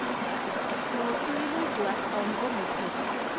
মৌছুৰীলৈ যোৱাত অংগমুথুক